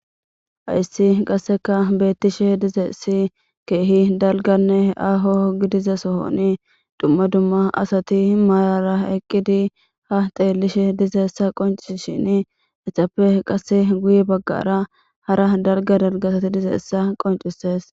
hayssi qasseka beettishe dizeessi keehi dalganne aho gidiza sohoni dumma dumma asati maayara eqqidi ha teellishe dizeessa qonci shin etappe qasse guye baggara hara dalga dalgasati dizeessa qoncises